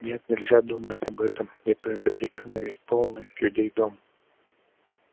нет нельзя думать об этом не то я закричу на весь полный людей дом